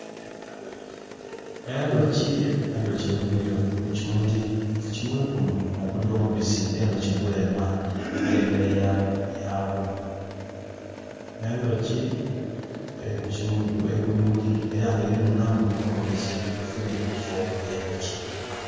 Endooki Endooki egwire ku kimuli. Ku kimuli kino nokuuli omubisi enduki gwenwa nga emere ya gwo. Endooki eri ku bimuli era nga erinunamu omubisi efune ekyo kulya